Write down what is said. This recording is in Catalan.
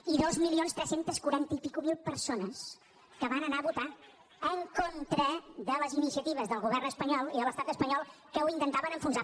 i dos milions tres centes quaranta i escaig mil persones que van anar a votar en contra de les iniciatives del govern espanyol i de l’estat espanyol que ho intentaven enfonsar